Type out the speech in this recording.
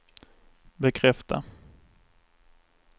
bekräfta